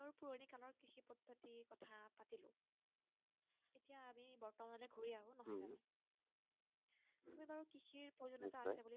প্ৰয়োজনীয়তা আছে বুলি ভাবো নিশ্চয়